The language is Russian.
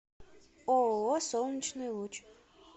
ооо солнечный луч